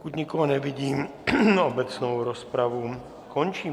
Pokud nikoho nevidím, obecnou rozpravu končím.